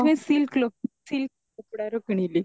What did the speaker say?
ସେଥିପାଇଁ silk cloth silk କପଡାର କିଣିଲି